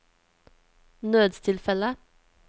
nødstilfelle